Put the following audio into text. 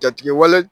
Jatigɛwale